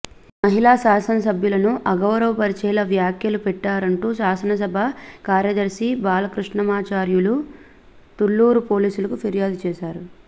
మహిళా శాసనసభ్యులను అగౌరవ పరిచేలా వ్యాఖ్యలు పెట్టారంటూ శాసనసభ కార్యదర్శి బాలకృష్ణమాచార్యులు తుళ్లూరు పోలీసులకు ఫిర్యాదు చేశారు